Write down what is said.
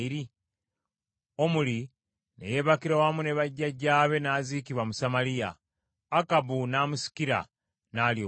Omuli ne yeebakira wamu ne bajjajjaabe n’aziikibwa mu Samaliya; Akabu n’amusikira, n’alya obwakabaka.